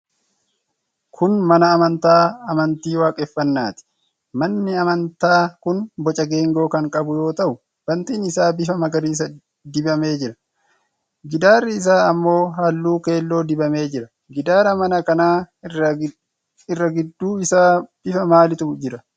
Kun mana amantaa amantii waaqeffannaati. Manni amantaa kun boca geengoo kan qabu yoo ta'u, Bantiin isaa bifa magariisa dibamee jira. Gidaarri isaa ammoo halluu keelloo dibamee jira. Gidaara mana kanaa irra gidduu isaa bifa maaliitu jira?